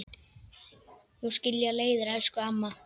Nú skilja leiðir, elsku amma.